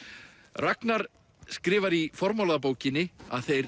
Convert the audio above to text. Ragnar skrifar í formála að bókinni að þeir